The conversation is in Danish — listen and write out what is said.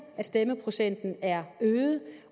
at stemmeprocenten er øget